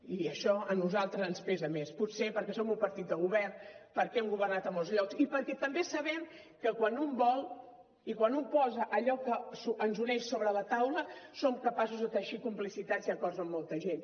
i això a nosaltres ens pesa més potser perquè som un partit de govern perquè hem governat a molts llocs i perquè també sabem que quan un vol i quan un posa allò que ens uneix sobre la taula som capaços de teixir complicitats i acords amb molta gent